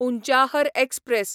Unchahar express